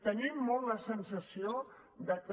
tenim molt la sensació que